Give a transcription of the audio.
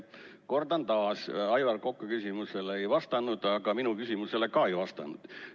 Kordan taas: Aivar Koka küsimusele sa ei vastanud ja minu küsimusele ka ei vastanud.